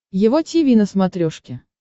его тиви на смотрешке